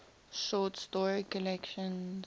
short story collections